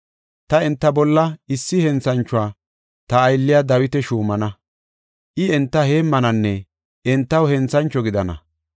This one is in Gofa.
Ta enta bolla issi henthanchuwa, ta aylliya Dawita shuumana; I enta heemmananne entaw henthancho gidana.